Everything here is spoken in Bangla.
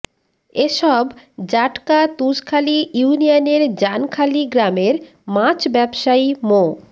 এসব জাটকা তুষখালী ইউনিয়নের জানখালী গ্রামের মাছ ব্যবসায়ী মো